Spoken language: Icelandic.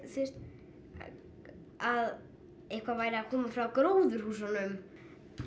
að eitthvað væri að koma frá gróðurhúsunum